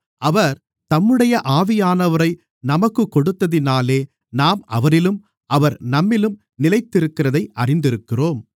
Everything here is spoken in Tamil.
அவர் தம்முடைய ஆவியானவரை நமக்குக் கொடுத்ததினாலே நாம் அவரிலும் அவர் நம்மிலும் நிலைத்திருக்கிறதை அறிந்திருக்கிறோம்